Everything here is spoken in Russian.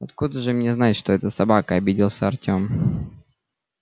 откуда же мне знать что это собака обиделся артем